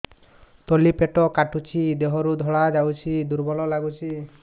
ତଳି ପେଟ କାଟୁଚି ଦେହରୁ ଧଳା ଯାଉଛି ଦୁର୍ବଳ ଲାଗୁଛି